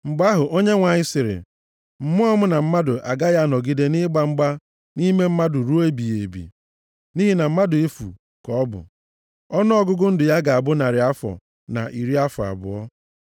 Mgbe ahụ, Onyenwe anyị sịrị, “Mmụọ m na mmadụ agaghị anọgide nʼịgba mgba nʼime mmadụ ruo ebighị ebi, nʼihi na mmadụ efu ka ọ bụ. + 6:3 Maọbụ, Mmụọ m agaghị adịgide nʼime mmadụ ruo ebighị ebi nʼihi na ha bụ ihe rụrụ arụ. Ọnụọgụgụ ndụ ya ga-abụ narị afọ na iri afọ abụọ.”